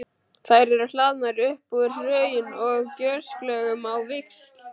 Þær eru hlaðnar upp úr hraun- og gjóskulögum á víxl.